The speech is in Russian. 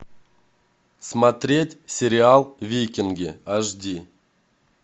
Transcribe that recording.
смотреть сериал викинги аш ди